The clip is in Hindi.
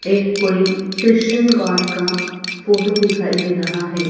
एक कोई क्रिश्चन गॉड का फोटो दिखाई दे रहा है।